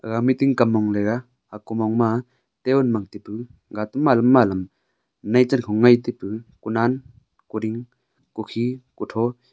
gaga meeting kam mong leyga aku mong ma table ma taipu ga pe ma lam ma lam hunai char hunai taipu honan kuding kukhi hotho.